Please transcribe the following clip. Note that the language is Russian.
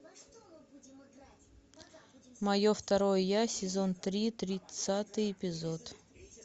мое второе я сезон три тридцатый эпизод